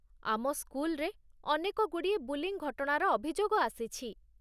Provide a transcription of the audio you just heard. ଆମ ସ୍କୁଲରେ ଅନେକଗୁଡ଼ିଏ 'ବୁଲିଙ୍ଗ୍' ଘଟଣାର ଅଭିଯୋଗ ଆସିଛି।